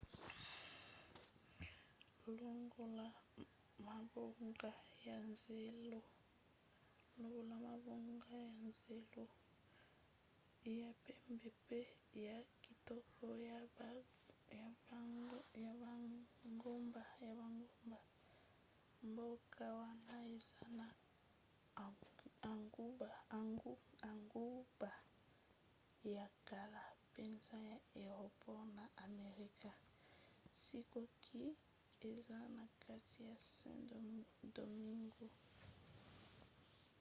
longola mabongo ya zelo ya pembe mpe ya kitoko ya bangomba mboka wana eza na engumba ya kala mpenza ya eropa na amerika sikoyo eza na kati ya saint-domingue